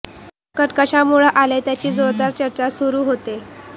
संकट कशामुळं आलं त्याची जोरदार चर्चा सुरू होते